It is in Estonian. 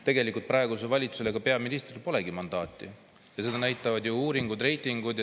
Tegelikult praegusel valitsusel ja peaministril polegi mandaati, seda näitavad ju uuringud ja reitingud.